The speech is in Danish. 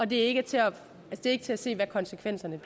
det er ikke til at til at se hvad konsekvenserne